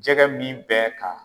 Jɛgɛ min bɛ ka